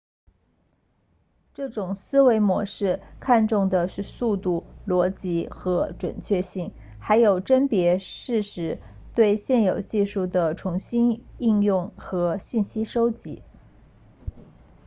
这种思维模式看重的是速度逻辑和准确性还有甄别事实对现有技术的重新应用和信息收集